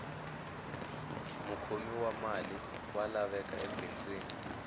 mukhomi wa mali wa laveka ebindzwini